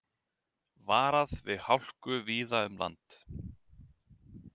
Varað við hálku víða um land